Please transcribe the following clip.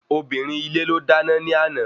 Obìnrin ilé ló dáná ní àná